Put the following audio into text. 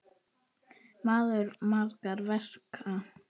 Maður margra verka.